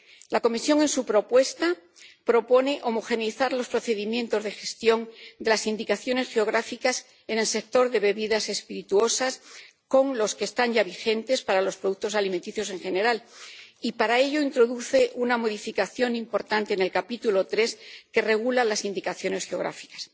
La Comisión, en su propuesta, propone armonizar los procedimientos de gestión de las indicaciones geográficas en el sector de las bebidas espirituosas con los que están ya vigentes para los productos alimenticios en general y, para ello, introduce una modificación importante en el capítulo III que regula las indicaciones geográficas.